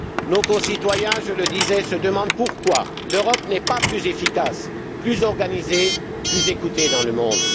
Nos concitoyens, je le disais, se demandent pourquoi l'Europe n'est pas plus efficace, plus organisée, plus écoutée dans le monde.